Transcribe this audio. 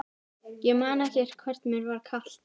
Ég man ekki hvort mér var kalt.